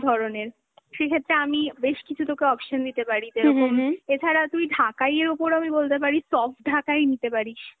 ধরনের, সেক্ষেত্রে আমি, বেশ কিছু তোকে option দিতে পারি যেরকম, এছারা তুই ঢাকাই এর ওপর, আমি বলতে পারি soft ঢাকাই নিতে পারিস